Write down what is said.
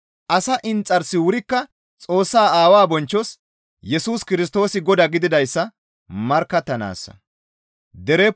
Asa inxarsi wurikka Xoossaa Aawaa bonchchos Yesus Kirstoosi Godaa gididayssa markkattanaassa.